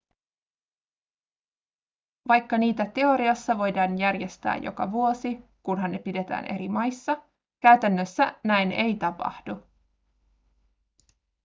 vaikka niitä teoriassa voidaan järjestää joka vuosi kunhan ne pidetään eri maissa käytännössä näin ei tapahdu